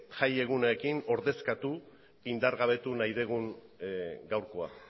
jai egunekin ordezkatu indargabetu nahi dugun gaurkoa